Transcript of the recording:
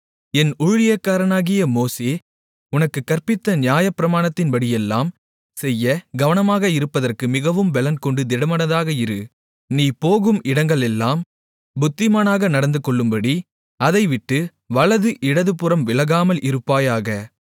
என் ஊழியக்காரனாகிய மோசே உனக்குக் கற்பித்த நியாயப்பிரமாணத்தின்படியெல்லாம் செய்ய கவனமாக இருப்பதற்கு மிகவும் பெலன்கொண்டு திடமனதாக இரு நீ போகும் இடங்களெல்லாம் புத்திமானாக நடந்துகொள்ளும்படி அதை விட்டு வலது இடதுபுறம் விலகாமல் இருப்பாயாக